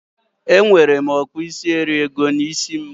Enwere m okpuisieriego n'isi m